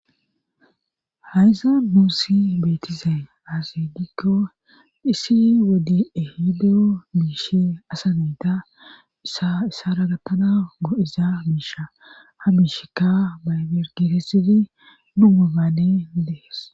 hayza nuursi beetize asidikko dhisi wodi ehideo miishe asa meta aissaragattana goo7iza miisha ha miishekka mayergiresidi dumubaane dees